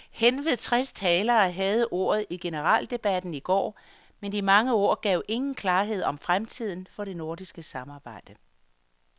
Henved tres talere havde ordet i generaldebatten i går, men de mange ord gav ingen klarhed om fremtiden for det nordiske samarbejde.